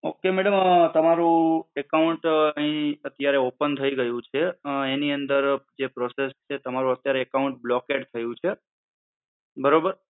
okay madam um તમારો account અહીંઅત્યારે open થઈ ગયું છે અમ એની અંદર જે process છે તમારું અત્યારે account blocked થયું છે. બરોબર?